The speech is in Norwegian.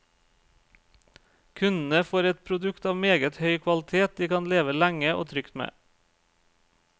Kundene får et produkt av meget høy kvalitet de kan leve lenge og trygt med.